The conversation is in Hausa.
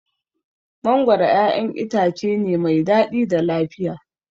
Mangoro ƴaƴan itace ne mai daɗi da lafiya.